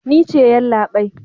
Ni ce yallabai.